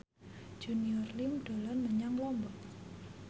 Junior Liem dolan menyang Lombok